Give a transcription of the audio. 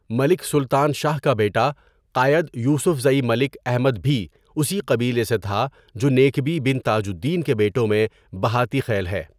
ملک سلطان شاہ کا بیٹا قائد یوسفزئی ملک احمد بھی اسی قبیلے سے تھا جو نیکبی بن تاج الدین کے بیٹوں میں بہاټی خیل ہے.